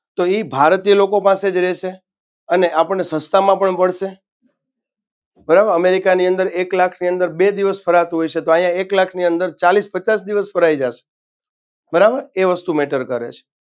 તો ઈ ભારતીય લોકો પાસે જ રેશે અને આપણને સસ્તામાં પણ પડશે બરાબર અમેરિકાની અંદર એક લાખની અંદર બે દિવસ ફરાતું હશે તો અહિયાં એક લાખની અંદર ચાલીસ પચાસ દિવસ ફરાઈ જાશે બરાબર એ વસ્તુ matter કરેશે.